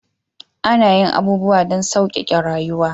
Ana yin abubuwa don sauƙaƙe rayuwa